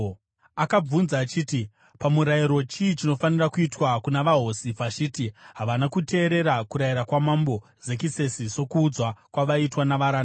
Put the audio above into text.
Akabvunza achiti, “Pamurayiro chii chinofanira kuitwa kuna vaHosi Vhashiti? Havana kuteerera kurayira kwaMambo Zekisesi sokuudzwa kwavaitwa navaranda.”